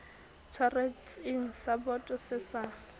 tshwaretseng sa boto se sa